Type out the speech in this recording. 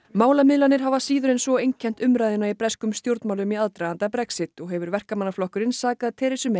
málamiðlanir hafa síður en svo einkennt umræðuna í breskum stjórnmálum í aðdraganda Brexit og hefur Verkamannaflokkurinn sakað